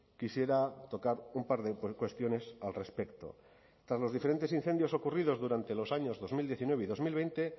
quisiera tocar un par de cuestiones al respecto tras los diferentes incendios ocurridos durante los años dos mil diecinueve y dos mil veinte